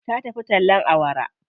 Ta tafi tallen awara.